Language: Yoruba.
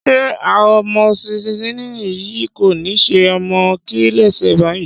Ṣé amoxicilin yìí kò ni ṣe ọmọ mí lése báyìí?